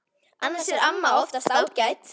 Annars er amma oftast ágæt.